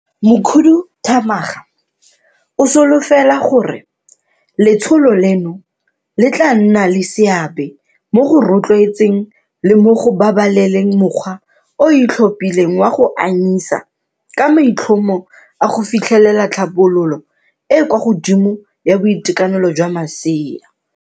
Mokhuduthamaga o solofela gore letsholo leno le tla nna le seabe mo go rotloetseng le mo go babaleleng mokgwa o o itlhophileng wa go anyisa ka maitlhomo a go fitlhelela tlhabololo e e kwa godimo ya boitekanelo jwa masea.